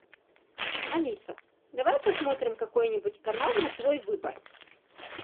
алиса давай посмотрим какой нибудь канал на твой выбор